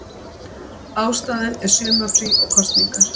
Ástæðan er sumarfrí og kosningar